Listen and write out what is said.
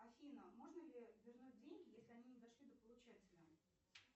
афина можно ли вернуть деньги если они не дошли до получателя